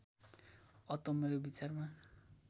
अत मेरो विचारमा